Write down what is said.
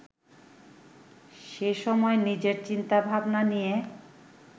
সেসময় নিজের চিন্তা-ভাবনা নিয়ে